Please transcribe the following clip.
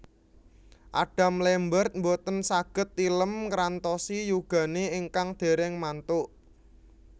Adam Lambert mboten saget tilem ngrantosi yugane ingkang dereng mantuk